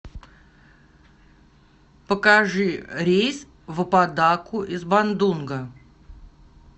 покажи рейс в аподаку из бандунга